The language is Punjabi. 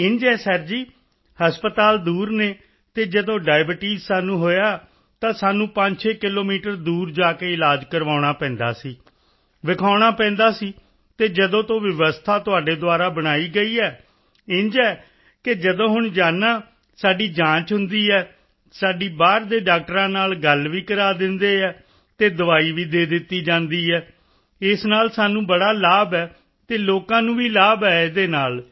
ਇੰਝ ਹੈ ਸਰ ਜੀ ਹਸਪਤਾਲ ਦੂਰ ਹਨ ਅਤੇ ਜਦੋਂ ਡਾਇਬਟੀਸ ਸਾਨੂੰ ਹੋਇਆ ਤਾਂ ਸਾਨੂੰ 56 ਕਿਲੋਮੀਟਰ ਦੂਰ ਜਾ ਕੇ ਇਲਾਜ ਕਰਵਾਉਣਾ ਪੈਂਦਾ ਸੀ ਵਿਖਾਉਣਾ ਪੈਂਦਾ ਸੀ ਅਤੇ ਜਦੋਂ ਤੋਂ ਵਿਵਸਥਾ ਤੁਹਾਡੇ ਦੁਆਰਾ ਬਣਾਈ ਗਈ ਹੈ ਇੰਝ ਹੈ ਕਿ ਜਦੋਂ ਹੁਣ ਜਾਂਦਾ ਹਾਂ ਸਾਡੀ ਜਾਂਚ ਹੁੰਦੀ ਹੈ ਸਾਡੀ ਬਾਹਰ ਦੇ ਡਾਕਟਰਾਂ ਨਾਲ ਗੱਲ ਵੀ ਕਰਾ ਦਿੰਦੀ ਹੈ ਅਤੇ ਦਵਾਈ ਵੀ ਦੇ ਦਿੰਦੀ ਹੈ ਇਸ ਨਾਲ ਸਾਨੂੰ ਬੜਾ ਲਾਭ ਹੈ ਅਤੇ ਲੋਕਾਂ ਨੂੰ ਵੀ ਲਾਭ ਹੈ ਇਸ ਨਾਲ